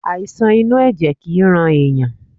Àìsàn inú ẹ̀jẹ̀ kìí rán ẹ̀yàn.